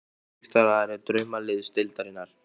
Viltu vera styrktaraðili Draumaliðsdeildarinnar?